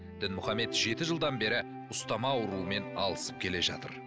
дінмұхаммед жеті жылдан бері ұстама ауруымен алысып келе жатыр